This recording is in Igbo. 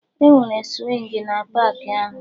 Enwere swingi na paakị ahụ